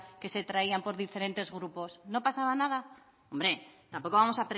que se traían por diferentes grupos no pasaba nada hombre tampoco vamos